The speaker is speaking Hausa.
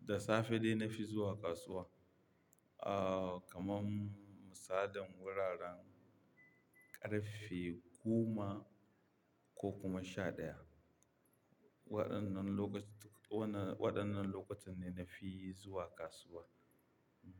da safe dai na fi zuwa kasuwa. Ah, kamam musadan wuraren ƙarfe goma ko kuma sha ɗaya. Waɗannan lokaci-- waɗannan lokutan ne na fi zuwa kasuwa. Hmm.